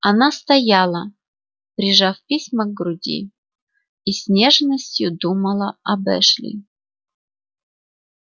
она стояла прижав письма к груди и с нежностью думала об эшли